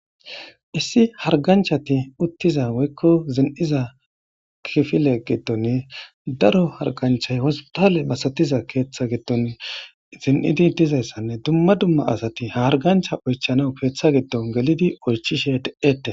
issi harganchati uttiza woykko zin7iza kifile gittonne daro harganchay wostale masatiza keeththa gidton zin7idi dizayssanne dumma dumma asati hargancha oychanaw keeththa giddon gelidi oychishe de7ette